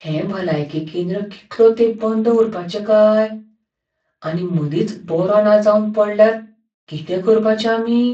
हें भलायकी केंद्र कितलो तेंप बंद उरपाचें काय? आनी मदींच बरों ना जावन पडल्यार कितें करपाचें आमी?